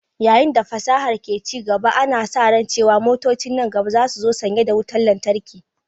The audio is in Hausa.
Yayin da fasahar ke ci gaba, ana sa ran cewa motocin nan gaba za su zo sanye da wutar lantarki.